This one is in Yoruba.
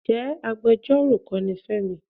Ǹjẹ́ agbejọ́rò kọ́ ni Fẹ́mi?